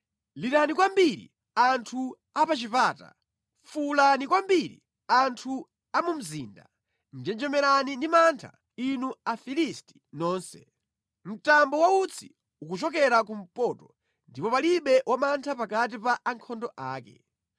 Lirani kwambiri, anthu a pa chipata! Fuwulani kwambiri, anthu a mu mzinda! Njenjemerani ndi mantha, inu Afilisti nonse! Mtambo wa utsi ukuchokera kumpoto, ndipo palibe wamantha pakati pa ankhondo ake.